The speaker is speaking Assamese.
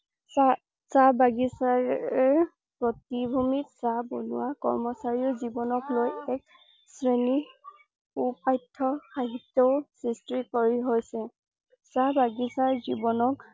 চাচাহ বাগিছাৰ প্ৰতিভূমিত চাহ বনুৱা কৰ্মচাৰীৰ জীৱনক লৈ এক শ্ৰেণী পো পাঠ্য সাহিত্য ও সৃষ্টি কৰি হৈছে । চাহ বাগিছাৰ জীৱনক